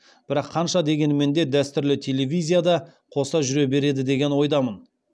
бірақ қанша дегенімен де дәстүрлі телевизия да қоса жүре береді деген ойдамын